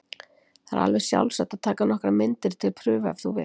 Það er alveg sjálfsagt að taka nokkrar myndir til prufu ef þú vilt.